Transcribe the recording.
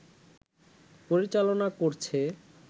পরিচালনা করছে